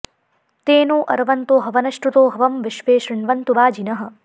ते नो॒ अर्व॑न्तो हवन॒श्रुतो॒ हवं॒ विश्वे॑ शृण्वन्तु वा॒जिनः॑